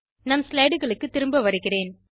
நம் slideகளுக்கு திரும்ப வருகிறேன்